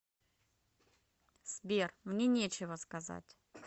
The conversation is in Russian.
сбер мне нечего сказать